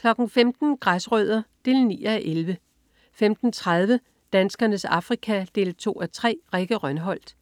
15.00 Græsrødder 9:11 15.30 Danskernes Afrika. 2:3. Rikke Rønholt